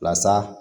Lasa